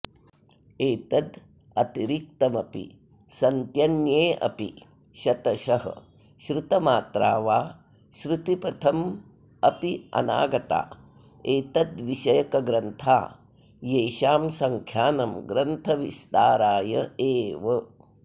एतदतिरिक्तमपि सन्त्यन्येऽपि शतशः श्रुतमात्रा वा श्रुतिपथमप्यनागता एतद्विषयकग्रन्था येषां सङ्ख्यानं ग्रन्थविस्तरायैव